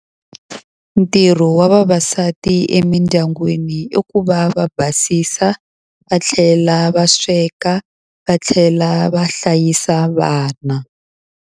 Ntirho wa vavasati emidyangwini i ku va va basisa, va tlhela va sweka, va tlhela va hlayisa vana.